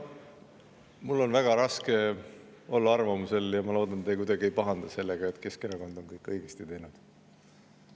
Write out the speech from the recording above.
Mul on väga raske olla arvamusel – ma loodan, et te kuidagi ei pahanda selle pärast –, et Keskerakond on kõik õigesti teinud.